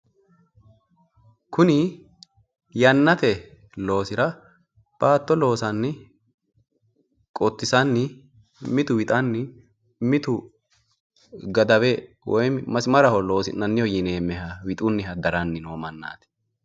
kuni yaannate loosira baatto loosanni qottisanni mitu wixanni mitu gadawe woyi masimaraho loosi'nanniho yineemmeha wixunniha darani noo mannaati.